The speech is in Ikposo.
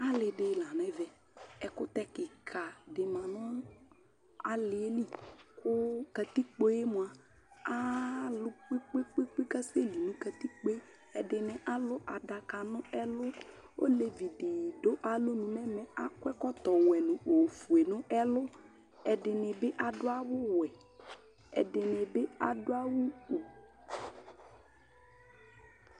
Alɩdɩ lanʊ ɛvɛƐkʊtɛ kɩka dɩ ma nʊ alɩɛ kʊ katɩkpoemʊa alʊ kpekpekpe kasɛlɩ nʊ katikpoe Ɛdɩnɩ alʊ adaka nʊ ɛlʊ Olevɩdɩnɩ dʊ alɔnʊ nʊ ɛvɛ, akɔ ɛkɔtɔwɛ nʊ ofoe nʊ ɛlʊ Ɛdɩnɩ bɩ adʊ awʊwɛ, ɛdɩnɩ bɩ adʊ awʊ kʊ